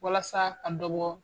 Walasa ka dɔ bɔ